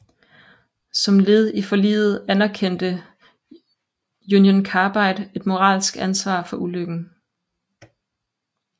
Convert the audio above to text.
Som led i forliget anerkendte Union Carbide et moralsk ansvar for ulykken